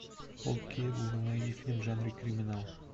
окей гугл найди фильм в жанре криминал